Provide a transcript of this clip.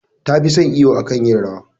Ta fi son iwo akan yin rawa.